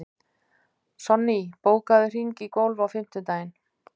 Sonný, bókaðu hring í golf á fimmtudaginn.